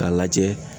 K'a lajɛ